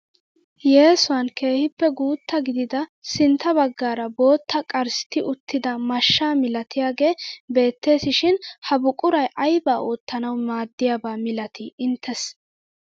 Yesuwaan keehippe guutta gidida sintta baggaara bootta qarstti uttida mashshaa milatiyaagee beettes shin ha buquray aybaa oottanwu maaddiyaaba milatii inttesi?